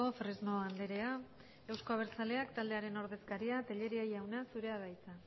fresno andrea euzko abertzaleak taldearen ordezkaria telleria jauna zurea da hitza